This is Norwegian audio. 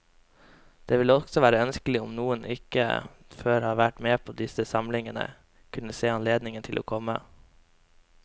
Det ville også være ønskelig om noen som ikke før har vært med på disse samlingene, kunne se seg anledning til å komme.